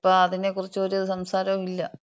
പിന്നെ ഇപ്പൊ അതിനെക്കുറിക്കുറിച്ചൊര് സംസാരോം ഇല്ല.